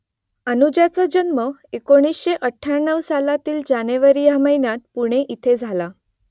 अनुजाचा जन्म एकोणीसशे अठ्ठ्याण्णव सालातील जानेवारी या महिन्यात पुणे इथे झाला